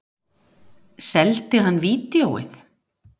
Seldi hann vídeóið?